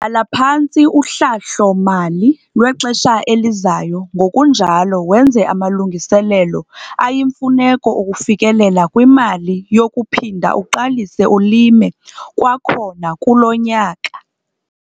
Bhala phantsi uhlahlo-mali lwexesha elizayo ngokunjalo wenze amalungiselelo ayimfuneko okufikelela kwimali yokuphinda uqalise ulime kwakhona kulo nyaka.